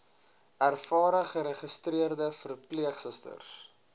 ervare geregistreerde verpleegsusters